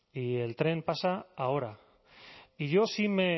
y el tren pasa ahora y yo sí me